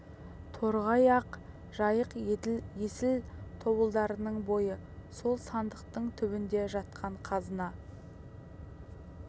торғай ақ жайық еділ есіл тобылдарыңның бойы сол сандықтың түбінде жатқан қазына